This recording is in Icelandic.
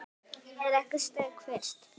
Er ekki steik fyrst?